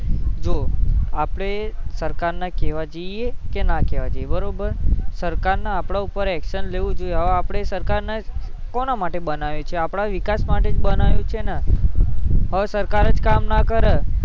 જો આપડે સરકાર ને કેવા જઈએ કે ના કેવા જઈએ બરોબર સરકાર ને આપડા ઉપર actions લેવું જોઈએ સરકાર ને કોના માટે બનાવ્યો આપડા વિકાસ માટે જ બનાવ્યો છે ને અને સરકાર જ કામ ન કરે